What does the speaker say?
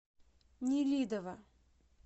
нелидово